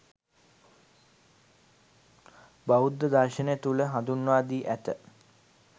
බෞද්ධ දර්ශනය තුළ හඳුන්වා දී ඇත.